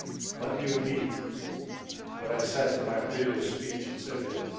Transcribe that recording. Let me repeat what I said in my previous speech on Serbia.